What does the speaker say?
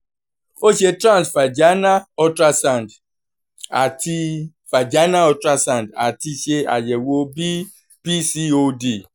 o ṣe trans vaginal ultrasound ati vaginal ultrasound ati ṣe ayẹwo bi pcod